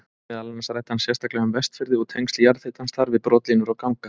Meðal annars ræddi hann sérstaklega um Vestfirði og tengsl jarðhitans þar við brotlínur og ganga.